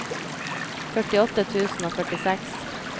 førtiåtte tusen og førtiseks